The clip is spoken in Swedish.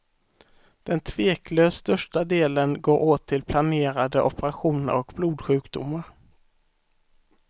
Den tveklöst största delen går åt till planerade operationer och blodsjukdomar.